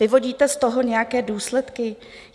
Vyvodíte z toho nějaké důsledky?